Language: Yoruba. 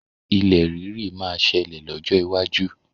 Ilẹ̀ rírì máa ṣẹlẹ̀ lọ́jọ́ iwájú.